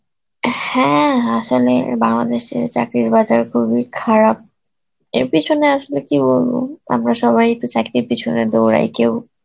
হ্যাঁ আসলে বাংলাদেশের চাকরির বাজার খুবই খারাপ এর পিছনে আসলে কী বলব আমরা সবাই তো চাকরির পেছনে দৌড়াই কেউ